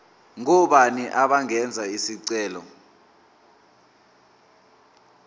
ngobani abangenza isicelo